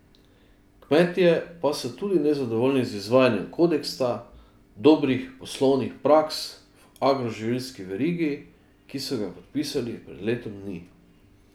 Kmetje pa so tudi nezadovoljni z izvajanjem kodeksa dobrih poslovnih praks v agroživilski verigi, ki so ga podpisali pred letom dni.